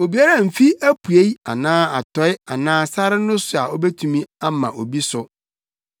Obiara mmfi apuei anaa atɔe anaa sare no so a obetumi ama obi so.